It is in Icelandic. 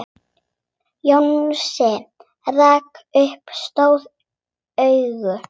Jónsi rak upp stór augu.